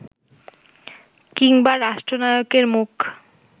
কিংবা রাষ্ট্রনায়কের মুখ